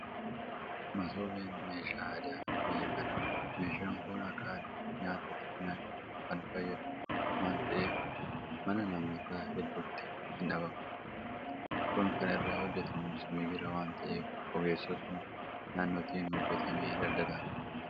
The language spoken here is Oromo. Masoobiin meeshaa aadaa biyya kanaati meeshaan kun akka aadaatti nyaata irratti nyaachuudhaaf kan fayyadu waanta ta'eef mana namoota hedduutii hindhabamu. Kun kan irraa hojjetamus migira waanta ta'eef ogeessotuma naannootiin hojjetamee daldalaaf dhiyaata.